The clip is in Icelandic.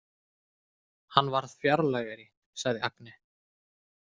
Hann varð fjarlægari, sagði Agne.